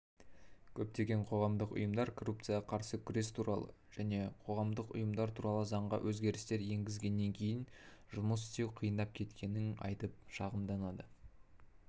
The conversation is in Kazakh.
көптеген қоғамдық ұйымдар коррупцияға қарсы күрес туралы және қоғамдық ұйымдар туралы заңға өзгерістер енгізілгеннен кейін жұмыс істеу қиындап кеткенін айтып шағымданады